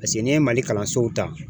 paseke n'i ye mali kalansow ta